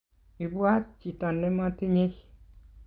ibwaat chito ne matinye